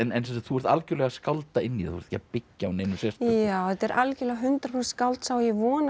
þú ert algjörlega að skálda inn í það þú ert ekki að byggja á neinu sérstöku já þetta er algjörlega hundrað prósent skáldsaga og ég vona að